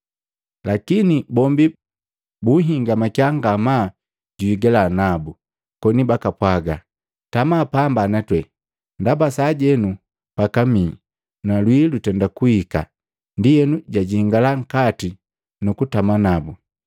lakini bombi buhingamakiya ngamaa juhigaliya nabu, koni bakapwaga, “Tama pamba na twe, ndaba sajenu pakamihi na lwii lutenda kuhika.” Ndienu jajingala nkati nu kutama nabu.